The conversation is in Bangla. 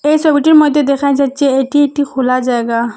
এই সবিটির মইদ্যে দেখা যাচ্ছে এটি একটি খোলা জায়গা।